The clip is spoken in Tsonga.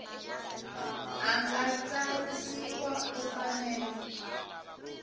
a nga tsarisiwa u fanele